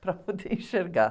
para poder enxergar.